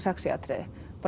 sexí atriði